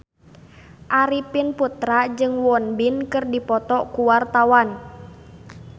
Arifin Putra jeung Won Bin keur dipoto ku wartawan